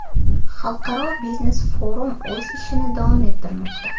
Xalqaro biznes-forum o‘z ishini davom ettirmoqda.